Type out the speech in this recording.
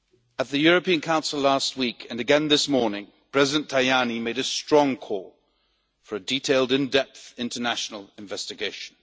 At the European Council last week and again this morning, President Tajani made a strong call for a detailed in depth international investigation.